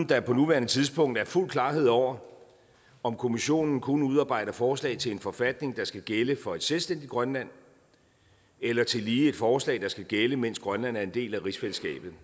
der på nuværende tidspunkt er fuld klarhed over om kommissionen kun udarbejder forslag til en forfatning der skal gælde for et selvstændigt grønland eller tillige et forslag der skal gælde mens grønland er en del af rigsfællesskabet